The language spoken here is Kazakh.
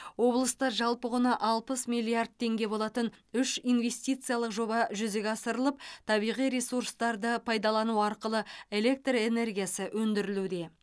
облыста жалпы құны алпыс миллиард теңге болатын үш инвестициялық жоба жүзеге асырылып табиғи ресурстарды пайдалану арқылы электр энергиясы өндірілуде